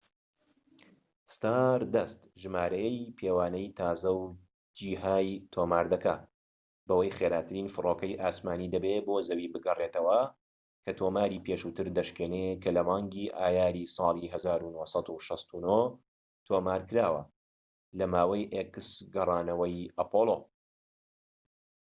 ستاردەست ژمارەیەی پێوانەیی تازە و جیهای تۆمار دەکات بەوەی خێراترین فڕۆکەی ئاسمانیی دەبێت بۆ زەوی بگەڕێتەوە، کە تۆماری پێشووتر دەشکێنێت کە لە مانگی ئایاری ساڵی 1969 تۆمارکراوە لە ماوەی گەڕانەوەی ئەپۆڵۆx